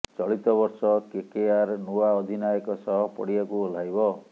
ଚଳିତ ବର୍ଷ କେକେଆର ନୂଆ ଅଧିନାୟକ ସହ ପଡ଼ିଆକୁ ଓହ୍ଲାଇବ